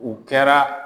U kɛra